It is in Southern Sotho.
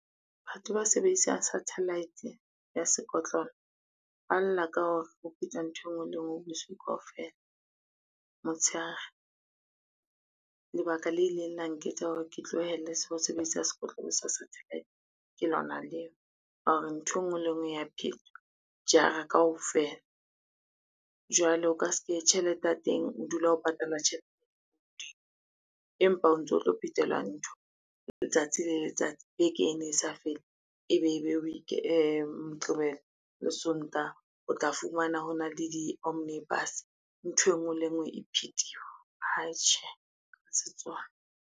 Batho ba sebedisang sathalaete ya sekotlolo ba lla ka hore ho phetwa ntho e ngwe le e ngwe busiu kaofela, motshehare. Lebaka le ileng la nketsa hore ke tlohelle ho sebedisa sekotlolo sa satellite, ke lona leo la hore ntho e ngwe le e ngwe ya phetwa jara kaofela. Jwale o ka se ke tjhelete ya teng, o dula o patala tjhelete, empa o ntso tlo phetelwa ntho letsatsi le letsatsi ekene e sa fele ebe e be Moqebelo le Sontaha o tla fumana hona le di-omnibus, ntho e ngwe le e ngwe e phethiwe atjhe ha se tsona.